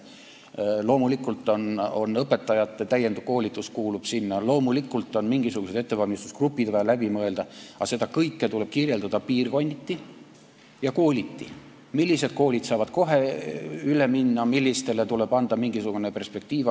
Loomulikult kuulub sinna õpetajate täienduskoolitus, loomulikult on mingisugused ettevalmistusgrupid vaja läbi mõelda, aga seda kõike tuleb kirjeldada piirkonniti ja kooliti, millised koolid saavad kohe üle minna, millistele tuleb anda mingisugune perspektiiv.